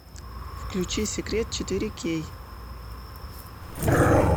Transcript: включи секрет четыре кей